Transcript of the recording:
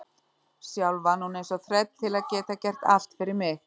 Sjálf vann hún eins og þræll til að geta gert allt fyrir mig.